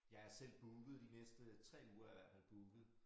Jeg er selv booket de næste 3 uger er jeg i hvert fald booket